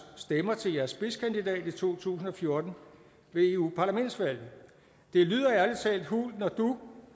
stemmer til jeres spidskandidat i to tusind og fjorten ved eu parlaments valget det lyder ærlig talt hult når du